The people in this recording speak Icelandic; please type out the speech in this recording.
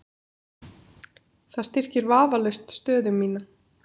Það styrkir vafalaust stöðu mína.